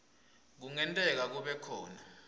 kungenteka kube khona